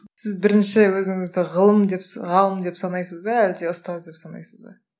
сіз бірінші өзіңізді ғылым деп ғалым деп санайсыз ба әлде ұстаз деп санайсыз ба